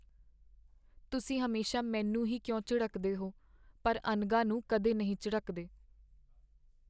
ਤੁਸੀਂ ਹਮੇਸ਼ਾ ਮੈਨੂੰ ਹੀ ਕਿਉਂ ਝਿੜਕਦੇ ਹੋ ਪਰ ਅਨਘਾ ਨੂੰ ਕਦੇ ਨਹੀਂ ਝਿੜਕਦੇ?